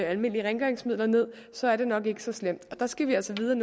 almindelige rengøringsmidler ned så er det nok ikke så slemt der skal vi altså vide